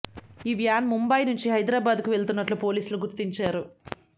ఈ వ్యాన్ ముంబాయ్ నుంచి హైదరాబాద్కు వెళ్తున్నట్లు పోలీసులు గుర్తించారు